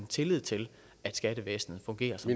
tillid til at skattevæsenet fungerer som